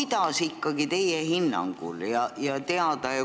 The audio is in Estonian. Tahaks ikkagi teada teie hinnangut.